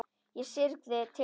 Ég syrgði tilveru mína.